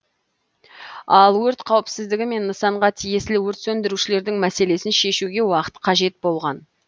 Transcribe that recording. ал өрт қауіпсіздігі мен нысанға тиесілі өрт сөндірушілердің мәселесін шешуге уақыт қажет болған